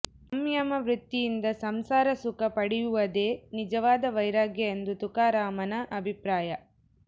ಸಂಯಮ ವೃತ್ತಿಯಿಂದ ಸಂಸಾರ ಸುಖ ಪಡೆಯುವದೇ ನಿಜವಾದ ವೈರಾಗ್ಯ ಎಂದು ತುಕಾರಾಮನ ಅಭಿಪ್ರಾಯ